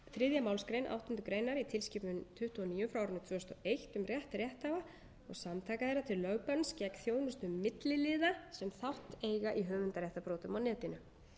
málsgrein áttundu grein í tilskipun tuttugu og níu tvö þúsund og tvö um rétt rétthafa og samtaka þeirra til lögbanns gegn þjónustu milliliða sem þátt eiga í höfundaréttarbrotum á netinu